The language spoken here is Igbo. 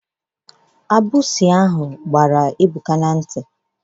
Agbụsi ahụ gbara Ebuka n'nti.